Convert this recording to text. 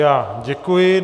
Já děkuji.